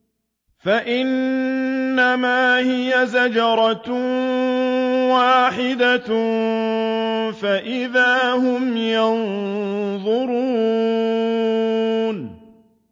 فَإِنَّمَا هِيَ زَجْرَةٌ وَاحِدَةٌ فَإِذَا هُمْ يَنظُرُونَ